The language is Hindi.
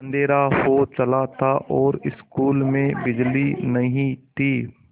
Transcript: अँधेरा हो चला था और स्कूल में बिजली नहीं थी